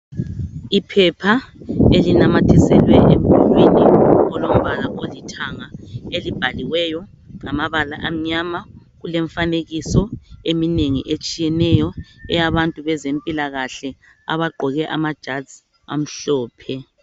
Iphepha elinamathiselwe emdulwini olombala olithanga, elibhaliweyo ngamabala amnyama, kule mfanekiso eminengi etshiyeneyo eyabantu bezempilakahle abagqoke ama jazi amhlophe.